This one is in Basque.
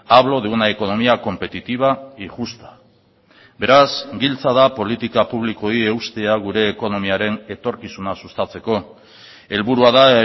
hablo de una economía competitiva y justa beraz giltza da politika publikoei eustea gure ekonomiaren etorkizuna sustatzeko helburua da